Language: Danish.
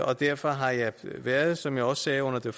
og derfor har jeg været som jeg også sagde under det